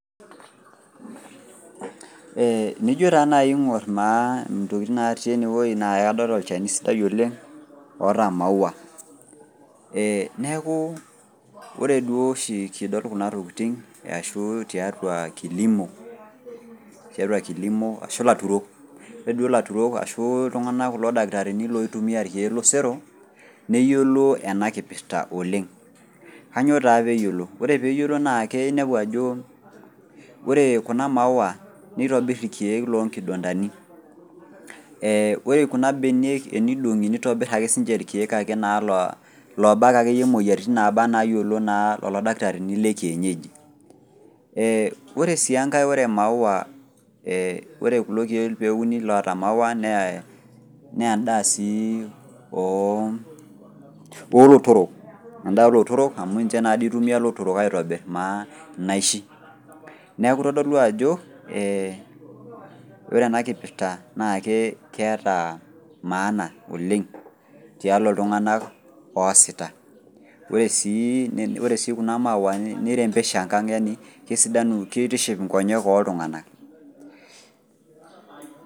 Ee nijo taa naji aingor naa ntokitin natii ena naa kadol olchani sidai oleng oita maua. neeku. ore duo oshi kidole Kuna tokitin ashu tiatua kilimo ashu ilaturok. ore duo laturok duo tosero. neyiolo ena nkipirta oleng. kainyioo taa pee yioloti. ore pee yioolo naa inepu ajo, ore Kuna maua nitobir irkeek loo nkibandanu. ore Kuna keek tenilepunye, nitobir ake sii ninche irkeek lobak akeyie moyiaritin looba anaa illooyiilo lelo dakitarini le kienyeji. ore sii enkae ore naai. ore kulo keek pee euni iloota maua nee edaa sii oolotorok .edaa oolotorok amu ninche naa dii itumia ilotorok aitobir naa inaishi. neeku kitodolu ajo ore ena nkipirta naa keeta maana oleng. Tialo iltunganak oosita. ore sii, Kuna maua ni rembesha e kang yani kitiship inkonyek ooltunganak.